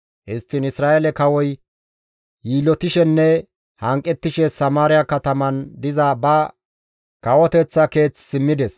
Histtiin Isra7eele kawoy yiillotishenne hanqettishe Samaariya kataman diza ba kawoteththa keeth simmides.